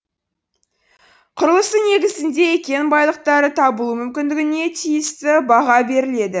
құрылысы негізінде кен байлықтары табылуы мүмкіндігіне тиісті баға беріледі